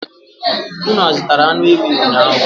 Unu azụtara anụ ewii ụnyaahụ?